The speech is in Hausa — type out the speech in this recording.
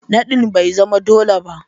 Nadin bai zama dole ba